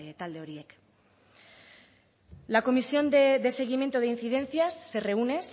talde horiek la comisión de seguimiento de incidencias se reúne